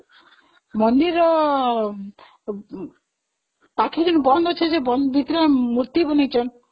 ମନ୍ଦିର ପାଖରେ ବନ୍ଦ ଅଛି ଯେ ଭିତରେମୂର୍ତି ବନେଇଛନ୍ତି